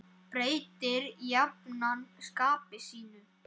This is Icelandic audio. Breytir jafnan skapi sínu.